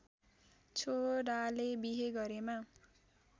छोराले बिहे गरेमा